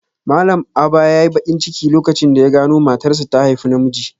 Malam Aba yayi bakin ciki lokacin da ya gano matarsa ta haifi namiji.